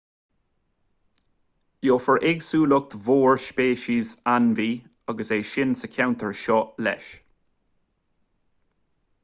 gheofar éagsúlacht mhór speiceas ainmhí agus éin sa cheantar seo leis